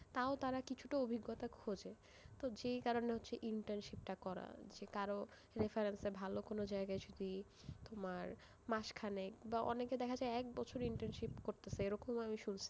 তাও তার কিছুটা অভিজ্ঞতা খোঁজে, তো যেই কারণে হচ্ছে internship টা করা, যে কারোর reference এ ভালো কোন জায়গায় যদি, তোমার, মাস খানেক, বা অনেকে দেখা যায় এক বছরের internship করতেসে এরকম ও আমি শুন,